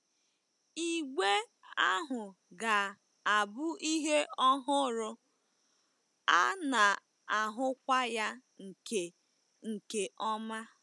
Igbe ahụ ga-abụ ihe ọhụrụ, a na-ahụkwa ya nke nke ọma.